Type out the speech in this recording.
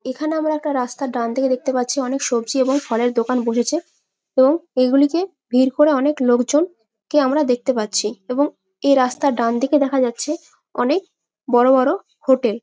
এখানে আমরা একটা রাস্তার ডানদিকে দেখতে পাচ্ছি। অনেক সবজি এবং ফলের দোকান বসেছে এবং এই গুলি কে ভিড় করে অনেক লোকজন কে আমরা দেখতে পাচ্ছি। এবং এ রাস্তার ডানদিকে দেখা যাচ্ছে অনেক বড় বড় হোটেল ।